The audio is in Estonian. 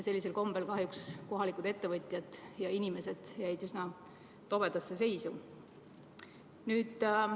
Sellisel kombel jäid kohalikud ettevõtjad ja inimesed kahjuks üsna tobedasse seisu.